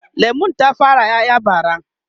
lemun ta fara ƴaƴa bara